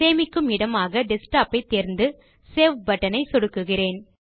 சேமிக்கும் இடமாக டெஸ்க்டாப் ஐ தேர்ந்து சேவ் buttonஐ சொடுக்குகிறேன்